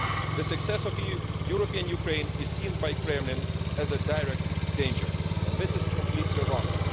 The success of European Ukraine is seen by the Kremlin as a direct danger and this is completely wrong.